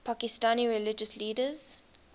pakistani religious leaders